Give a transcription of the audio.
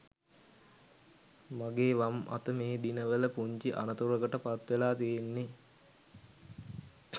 මගේ වම් අත මේ දිනවල පුංචි අනතුරකට පත්වෙලා තියෙන්නෙ